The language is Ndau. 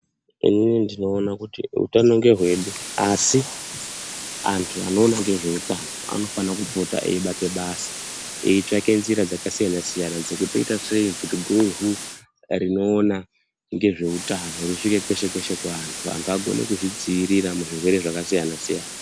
Inini ndinoona kuti utano ngehwedu asi antu anoona ngezveutano anofana kupota eibate basa eitsvake njira dzakasiyana siyana dzekuti toita sei kuti guvhu rinoona ngezveutano risvike kweshe kweshe kuvantu vantu vagone kuzvidzivirira muzvirwere zvakasiyana siyana